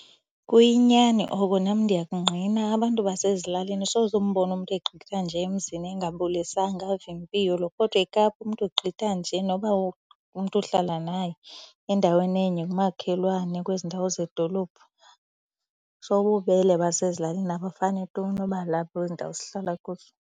Kuyinyani oko nam ndiyakungqina. Abantu basezilalini soze umbone umntu egqitha nje emzini engabulisanga ave impilo. Kodwa eKapa umntu ugqitha nje noba umntu uhlala naye endaweni enye ngumakhelwane kwezi ndawo zedolophu. So ububele basezilalini abufani tu noba lapha kwezi ndawo sihlala kuzo.